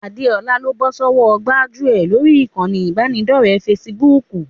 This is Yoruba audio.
Adéọlá ló bọ́ sọ́wọ́ gbájúẹ̀ lórí ìkànnì ìbánidọ́ọ̀rẹ́ fesibúùkù